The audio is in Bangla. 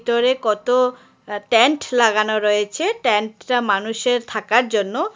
কত আ টেন্ট লাগানো রয়েছে টেন্ট -টা মানুষের থাকার জন্য।